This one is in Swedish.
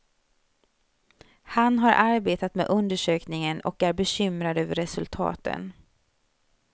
Han har arbetat med undersökningen och är bekymrad över resultaten.